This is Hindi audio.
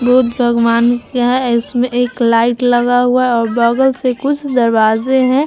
बुद्ध भगवान का है और इसमें एक लाइट लगा हुआ है और बगल से कुछ दरवाज़े है।